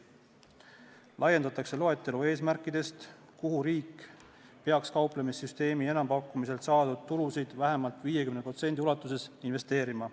Laiendatakse loetelu eesmärkidest, mille saavutamisse peaks riik kauplemissüsteemi enampakkumisel saadud tulu vähemalt 50% ulatuses investeerima.